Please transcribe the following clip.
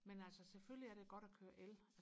men altså selvfølgelig er det godt og køre el